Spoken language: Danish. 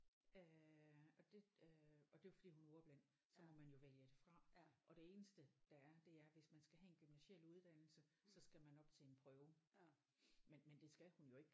Øh og det øh og det er jo fordi hun er ordblind så må man jo vælge det fra og det eneste der er det er hvis man skal have en gymnasial uddannelse så skal man op til en prøve men men det skal hun jo ikke